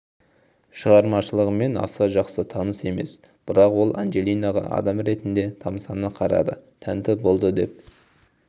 шығармашылығымен аса жақсы таныс емес бірақ ол анджелинаға адам ретінде тамсана қарады тәнті болды деп